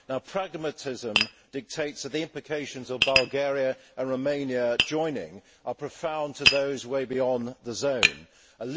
Pragmatism dictates that the implications of Bulgaria and Romania joining are profound for those way beyond the Schengen area.